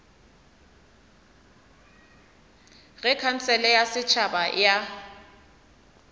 ge khansele ya setšhaba ya